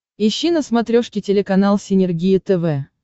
ищи на смотрешке телеканал синергия тв